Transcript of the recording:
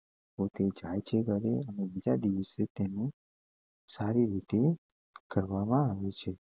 અને બીજા દિવસે તેને સારી રીતે કરવામાં આવે છે